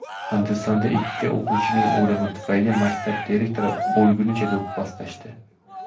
Hindistonda ikki o‘quvchining o‘limi tufayli maktab direktorini o‘lgunicha do‘pposlashdi.